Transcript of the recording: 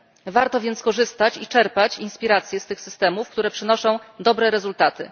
Warto więc skorzystać i czerpać inspiracje z tych systemów, które przynoszą dobre rezultaty.